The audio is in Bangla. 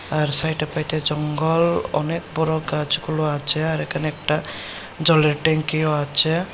তার সাইটে পাইটে জঙ্গল অনেক বড় গাছগুলো আছে আর এখানে একটা জলের ট্যাংকিও আছে।